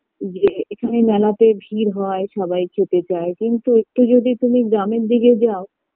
যে এখানে মেলাতে ভীড় হয় সবাই খেতে চায় কিন্তু একটু যদি তুমি গ্রামের দিকে যাও